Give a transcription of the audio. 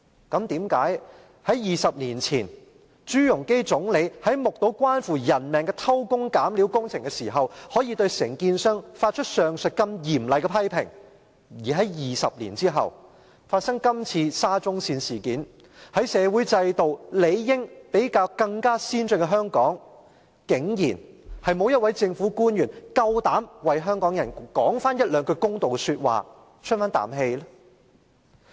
但是，為甚麼在20年前，前總理朱鎔基在目睹關乎人命的偷工減料工程時，可以對承建商發出上述如此嚴厲的批評，而在20年後發生這次沙中線事件，在社會制度理應比較先進的香港，竟然沒有一位政府官員敢為香港人說一兩句公道說話，出一口氣呢？